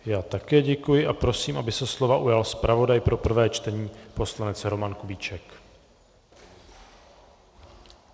Já také děkuji a prosím, aby se slova ujal zpravodaj pro prvé čtení poslanec Roman Kubíček.